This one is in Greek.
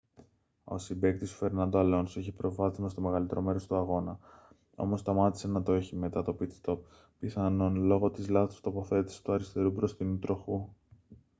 ο συμπαίκτης του φερνάντο αλόνσο είχε προβάδισμα στο μεγαλύτερο μέρος του αγώνα όμως σταμάτησε να το έχει μετά το pit-stop πιθανόν λόγω της λάθος τοποθέτησης του αριστερού μπροστινού τροχού